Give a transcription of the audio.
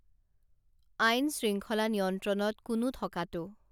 আইন শৃংখলা নিয়ন্ত্ৰণত কোনো থকাটো